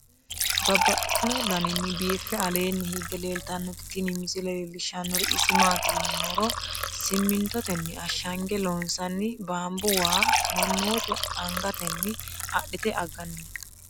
Babaxxittinno daninni biiffe aleenni hige leelittannotti tinni misile lelishshanori isi maattiya yinummoro simintottenni ashangge loonsoonni banibu wa manoottu angattenni adhitte aganni noo.